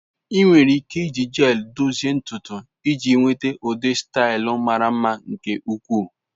Enwere ike iji gels dozie ntutu iji nweta ụdị staịl mara mma nke ukwuu.